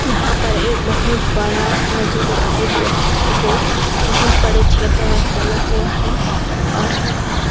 यहाँ पर एक बहुत बड़ा नदी दिखाई दे रहा है जो बहुत बड़े क्षेत्र में फैला हुआ है।